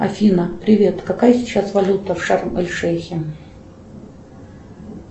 афина привет какая сейчас валюта в шарм эль шейхе